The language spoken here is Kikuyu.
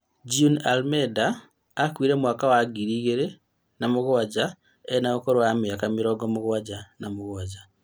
June Almeda akuire mwaka wa ngiri ĩgĩrĩ na mũgwanja, ena ũkũrũ wa mĩaka mĩrongo mũgwanja na mũgwanja